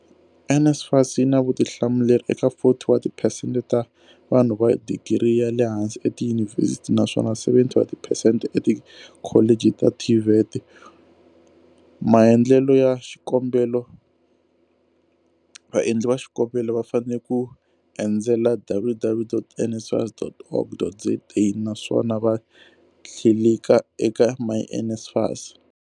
NSFAS yi na vutihlamuleri eka 40 wa tiphesente ta vanhu va digiri ya le hansi etiyunivhesiti naswona 70 wa tiphesente etikholeji ta TVET. Maendlelo ya xikombelo Vaendli va xikombelo va fanele ku endzela www.nsfas.org.za naswona va tlilika eka myNSFAS.